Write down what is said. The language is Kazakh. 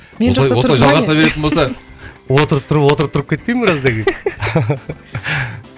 осылай жалғаса беретін болса отырып тұрып отырып тұрып кетпейін біраздан кейін